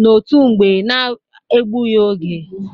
n'otu mgbe na-ebụghi oge.